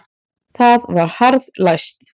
Það var harðlæst.